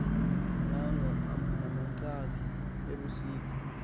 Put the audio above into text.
nanga namagqabi ebusika